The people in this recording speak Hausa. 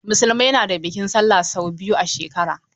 Musulmai na da bikin sallah sau biyu a shekara.